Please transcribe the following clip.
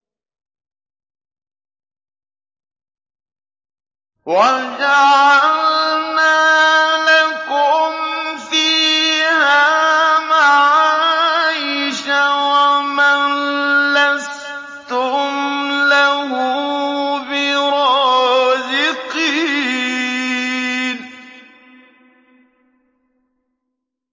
وَجَعَلْنَا لَكُمْ فِيهَا مَعَايِشَ وَمَن لَّسْتُمْ لَهُ بِرَازِقِينَ